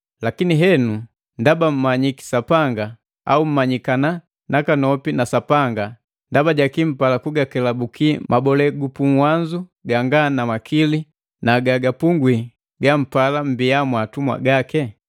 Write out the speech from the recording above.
Lakini henu ndaba mummanyiki Sapanga, au mmanyikana nakanopi na Sapanga, ndaba jaki mpala kugakelabuki mabole gupuwanzo ganga na makili na gagapungwi gampala mmbiya mwatumwa gake?